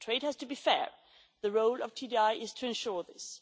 Trade has to be fair the role of TDI is to ensure